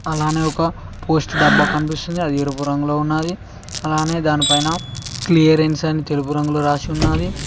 అలానే ఒక పోస్ట్ డబ్బా కనిపిస్తుంది అది ఎరుపు రంగులో ఉన్నాది అలానే దానిపైన క్లియరెన్స్ అని తెలుపు రంగులో రాసి ఉన్నాది.